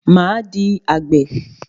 Máa di àgbè.